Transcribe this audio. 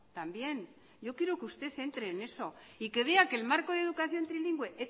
también yo quiero que usted entre en eso y que vea que el marco de educación trilingüe